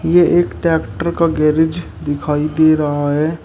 यह एक ट्रैक्टर का गैरेज दिखाई दे रहा है।